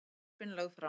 Frumvörpin lögð fram